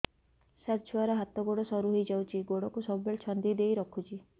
ସାର ଛୁଆର ହାତ ଗୋଡ ସରୁ ହେଇ ଯାଉଛି ଗୋଡ କୁ ସବୁବେଳେ ଛନ୍ଦିଦେଇ ରଖୁଛି